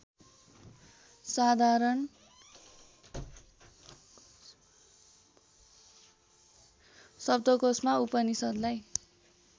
साधारण शब्दकोषमा उपनिषद्लाई